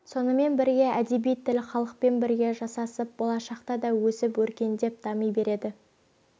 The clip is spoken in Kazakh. сонымен бірге әдеби тіл халықпен бірге жасасып болашақта да өсіп-өркендеп дами береді